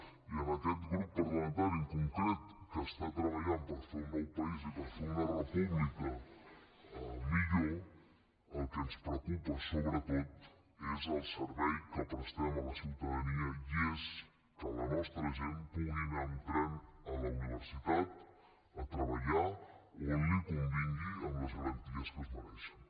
i en aquest grup parlamentari en concret que està treballant per fer un nou país i per fer una república millor el que ens preocupa sobretot és el servei que prestem a la ciutadania i és que la nostra gent pugui anar amb tren a la universitat a treballar o a on li convingui amb les garanties que es mereixen